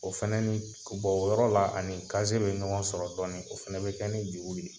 O fana ni bɔ o yɔrɔ la, a ni kaze bɛ ɲɔgɔn sɔrɔ dɔɔnin, o fana bɛ kɛ ni juru de ye.